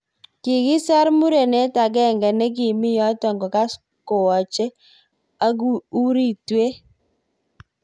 Kikisar murenet ak genge nikimi yotok kokas kowache ak uritwet.